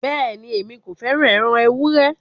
Bẹ́ẹ̀ni, Èmi kò fẹ́ràn ẹran èwùré.